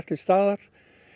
til staðar